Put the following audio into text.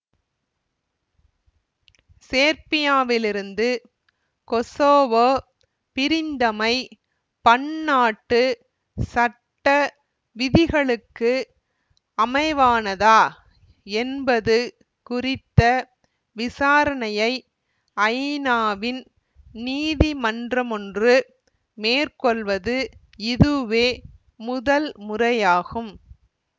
சேர்பியாவிலிருந்து Kosovo பிரிந்தமை பன்னாட்டு சட்ட விதிகளுக்கு அமைவானதா என்பது குறித்த விசாரணையை ஐநாவின் நீதிமன்றமொன்று மேற்கொள்வது இதுவே முதல் முறையாகும்